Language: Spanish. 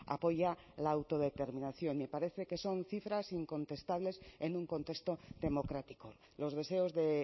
apoya la autodeterminación me parece que son cifras incontestables en un contexto democrático los deseos de